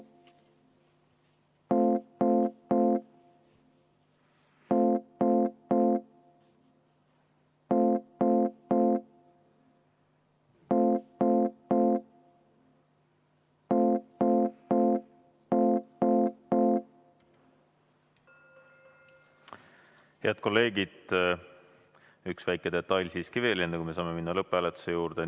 Head kolleegid, üks väike detail siiski veel enne, kui me saame minna lõpphääletuse juurde.